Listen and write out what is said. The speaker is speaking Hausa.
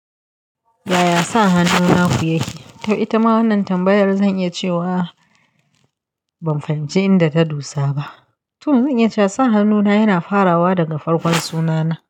Yaya sa hannun naku yake? To ita ma wannan tambayar zan iya cewa ban fahimci inda ta dosa ba. To zan iya cewa sa hannuna yana farawa daga farkon sunana.